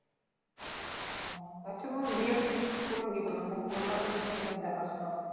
আচ্ছা বল বিয়েটা ঠিক করলো কি করে? মানে কলকাতাই কি করে দেখাশুনা?